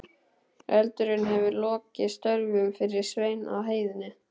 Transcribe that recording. Eldurinn hefur lokið störfum fyrir Svein á heiðinni.